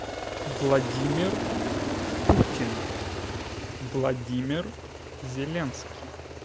владимир путин владимир зеленский